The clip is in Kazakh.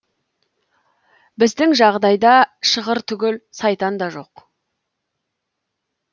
біздің жағдайда шығыр түгіл сайтан да жоқ